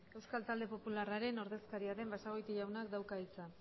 euskal talde popularraren ordezkaria den basagoiti jaunak dauka hitza